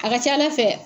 A ka ca ala fɛ